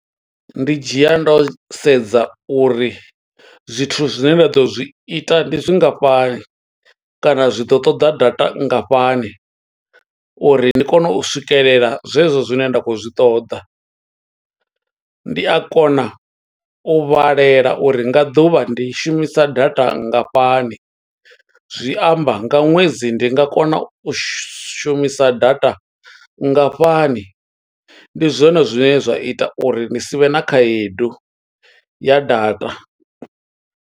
Ndi dzhia ndo sedza uri, zwithu zwine ra ḓo zwi ita ndi zwingafhani, kana zwi ḓo ṱoḓa data nngafhani, uri ndi kone u swikelela zwe zwo zwine nda khou zwi ṱoḓa. Ndi a kona u vhalela uri nga ḓuvha ndi shumisa data nngafhani, zwi amba nga ṅwedzi ndi nga kona u shumisa data nngafhani. Ndi zwone zwine zwa ita uri ni sivhe na khaedu, ya data.